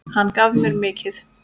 Hann gaf mér mikið.